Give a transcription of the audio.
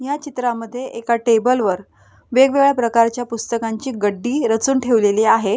या चित्रामद्धे एका टेबलवर वेगवेगळ्या प्रकारच्या पुस्तकांची गड्डी रचून ठेवलेली आहे.